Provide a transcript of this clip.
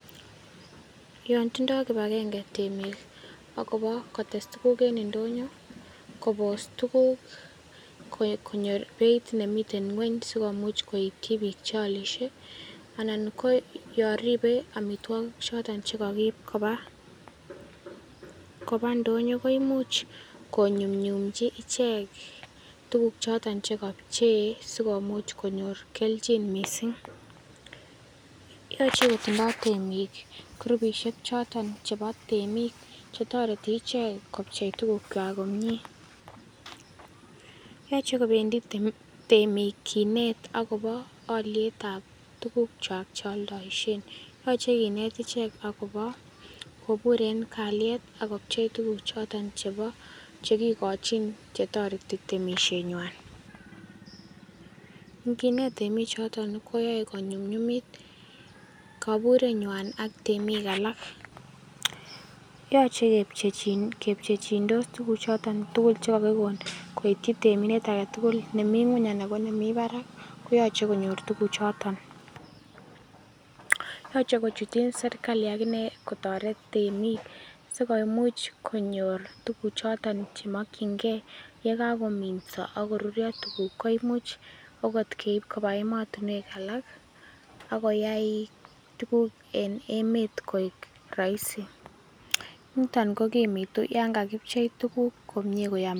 Yon tindo kipagenge temik agobo kotes tuguk en ndonyo kobos tuguk ko konyo ng'weny sikomuch koityi biik choolisie anan ko yon ribe omitwogik choton chekokiib koba ndonyo koimuch konyumnyumji ichek tuguk choton chekopchei sikomuch konyor keljin missing'. Yoche kotindo temik kurupisiek choton chebo temik chetoreti ichek kopchei tgukwak komie. Yoche kobendi temik kinet agobo olietab tugukwak cheoldoisien. Yoche kinet ichek agobo kobur en kaliet ak kopchei tuguchoton chebo chekikochin chetoreti temisienywan. Inginet temikchoton koyoe konyumnyumit koburenywan ak temik alak. Yoche kepche kepchechindos tuguchoton chekokikon koityi temindet agetugul neming'weny anan ko nemi barak koyoche konyor tuguchoton. Yoche kochuten serkali agine kotoret temik sikoimuch konyor tuguchoton chemokyingei yegan kominso ak korurio tuguk koimuch ogot keib koba emotinwek alak ak koyai tuguk en emet koik roisi. Niton kokimitu yon kakipchei tuguk komie koyom.